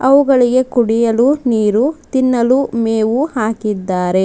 ಅವುಗಳಿಗೆ ಕುಡಿಯಲು ನೀರು ತಿನ್ನಲು ಮೇವು ಹಾಕಿದ್ದಾರೆ.